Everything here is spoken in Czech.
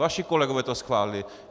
Vaši kolegové to schválili.